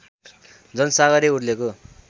जनसागरै उर्लेको